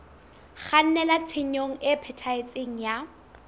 kgannela tshenyong e phethahetseng ya